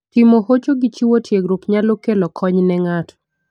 Timo hocho gi chiwo tiegruok nyalo kelo kony ne ng'ato.